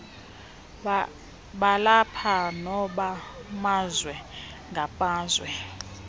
balapha nobamazwe ngamazwe